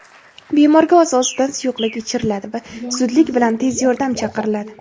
Bemorga oz-ozdan suyuqlik ichiriladi va zudlik bilan tez yordam chaqiriladi.